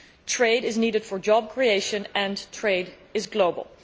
Trade is necessary for job creation, and trade is global.